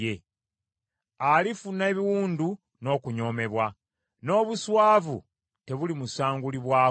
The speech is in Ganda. Alifuna ebiwundu n’okunyoomebwa; n’obuswavu tebulimusangulibwako.